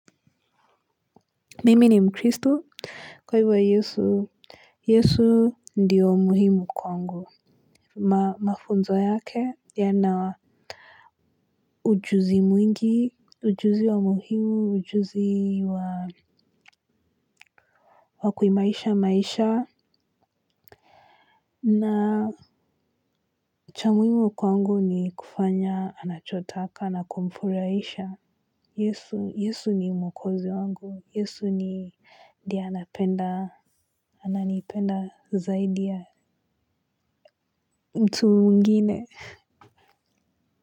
Mimi ni mkristo, kwa hivyo wa yesu, yesu ndiyo muhimu kwangu, mafunzo yake, yana ujuzi mwingi, ujuzi wa muhimu, ujuzi wa, wa kuimarisha maisha, na, cha muhimu kwangu ni kufanya, anachotaka, na kumfurahisha, yesu, yesu ni mwokozi wangu, yesu ni, ndiye anapenda, ananipenda zaidi ya, mtu mwingine, kwa hivyo.